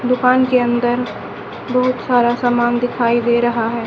दुकान के अंदर बहुत सारा समान दिखाई दे रहा है।